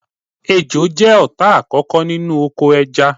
Ejò jẹ́ ọ̀tá àkókò nínú oko ẹja